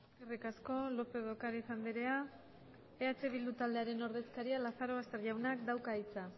eskerrik asko lópez de ocáriz andrea eh bildu taldearen ordezkaria lazarobaster jaunak dauka hitza